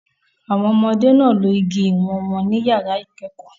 Àwọn ọmọdé náà lo igi ìwọ̀n wọn ní yàrá ìkẹ́kọ̀ọ́